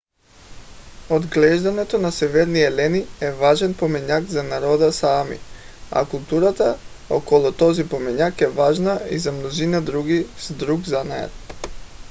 отглеждането на северни елени е важен поминък за народа саами а културата около този поминък е важна и за мнозина с друг занаят